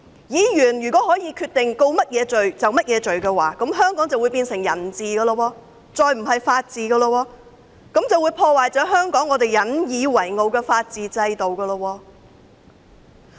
如果議員可以決定控告他們甚麼罪，香港便會變成人治社會，不再是法治社會，更會破壞香港引以為傲的法治制度。